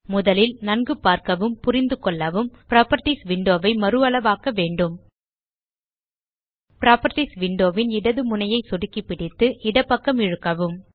முதலில் நன்கு பார்க்கவும் புரிந்துகொள்ளவும் புராப்பர்ட்டீஸ் விண்டோ ஐ மறுஅளவாக்க வேண்டும் புராப்பர்ட்டீஸ் விண்டோ ன் இடது முனையை சொடுக்கி பிடித்து இடப்பக்கம் இழுக்கவும்